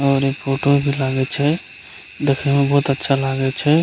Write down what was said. और इ फोटो भी लागे छै देखें में बहुत अच्छा लागे छै।